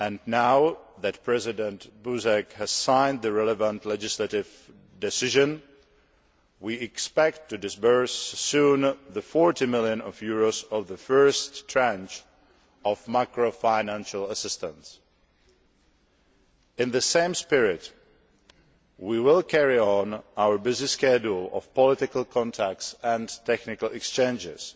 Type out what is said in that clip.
Now that President Buzek has signed the relevant legislative decision, we expect to disburse soon the EUR 40 million of the first tranche of macro financial assistance. In the same spirit, we will carry on our busy schedule of political contacts and technical exchanges.